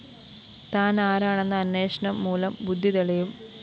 താനാരാണെന്ന അന്വേഷണം മൂലം ബുദ്ധി തെളിയും